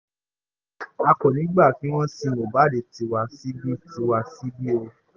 a kò ní í gbà kí wọ́n sin mohbad tiwa síbí tiwa síbí